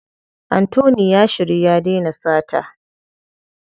Anthony ya shiryu ya dena sata.